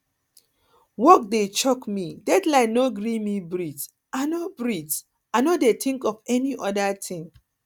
work dey choke me deadline no gree me breath i no breath i no dey think of any oda thing